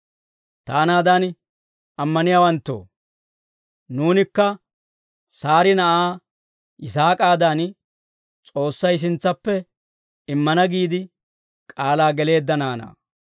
Taanaadan ammaniyaawanttoo, nuunikka Saari na'aa Yisaak'aadan, S'oossay sintsappe immana giide k'aalaa geleedda naanaa.